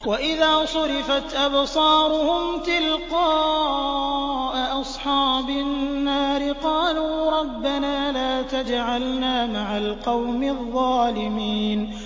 ۞ وَإِذَا صُرِفَتْ أَبْصَارُهُمْ تِلْقَاءَ أَصْحَابِ النَّارِ قَالُوا رَبَّنَا لَا تَجْعَلْنَا مَعَ الْقَوْمِ الظَّالِمِينَ